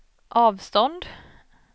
avstånd